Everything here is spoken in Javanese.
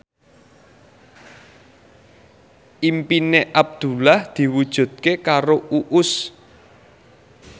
impine Abdullah diwujudke karo Uus